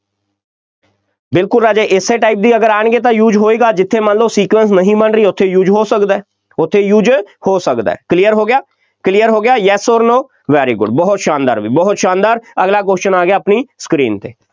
ਬਿਲਕੁੱਲ ਰਾਜੇ, ਇਸੇ type ਵੀ ਅਗਰ ਆਉਣਗੇ ਤਾਂ use ਹੋਏਗਾ, ਜਿੱਥੇ ਮੰਨ ਲਓ sequence ਨਹੀਂ ਬਣ ਰਹੀ, ਉੱਥੇ use ਹੋ ਸਕਦਾ, ਉੱਥੇ use ਹੋ ਸਕਦਾ clear ਹੋ ਗਿਆ clear ਹੋ ਗਿਆ yes or no, very good ਬਹੁਤ ਸ਼ਾਨਦਾਰ ਬਈ, ਬਹੁਤ ਸ਼ਾਨਦਾਰ, ਅਗਲਾ question ਆ ਗਿਆ ਆਪਣੀ screen 'ਤੇ,